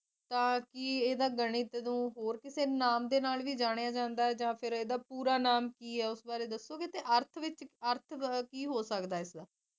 ਕੀ ਇਹਨੂੰ ਗਣਿਤ ਨੂੰ ਹੋਰ ਕਿਸੇ ਨਾਅ ਦੇ ਨਾਲ ਜਾਣਿਆ ਜਾਂਦਾ ਜਾ ਫਿਰ ਇਹਦਾ ਪੂਰਾ ਨਾਮ ਕੀਏ ਉਸ ਵਾਰੇ ਦੱਸੋਗੇ ਜਾ ਆਰਥ ਵਿੱਚ ਅਰਥ ਕੀ ਹੋ ਸਕਦਾ